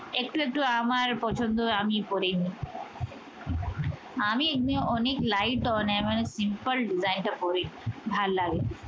একটু একটু আমার পছন্দে আমি পরে নেই আমি এমনি অনেক lite না মানে simple design টা পড়ি ভালো লাগে